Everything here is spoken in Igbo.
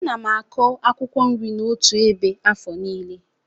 Ana m akụ akwụkwọ nri m n'otu ebe afọ nílé.